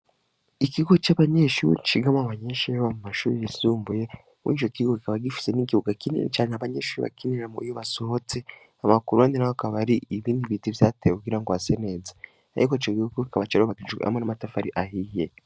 Ikigo cabanyeshure cigamwo abanyeshure bo mu mashure yisumbuye mwico kigo kikaba gifise ikibuga kimwe abanyeshure bakinirako iyo basohotse hama k,uruhande naho hakaba hari ibiti vyatewe kugira hase neza ariko ico kigo kikaba cubatswe hamwe n,amatafari ahiye